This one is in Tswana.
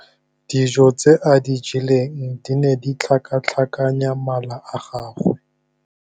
Dijô tse a di jeleng di ne di tlhakatlhakanya mala a gagwe.